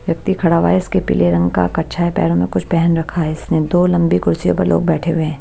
व्यक्ति खड़ा हुआ है इसके पीले रंग का कच्छा है पैरों में कुछ पहन रखा है इसने दो लंबी कुर्सियों पर लोग बैठे हुए हैं।